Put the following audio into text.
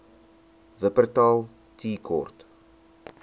wupperthal tea court